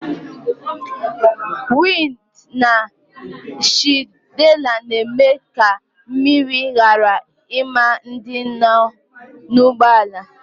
Wịnd na shịldi na-eme ka mmiri ghara ima ndị nọ n'ụgbọala